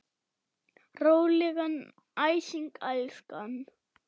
Rólegan æsing, elskan.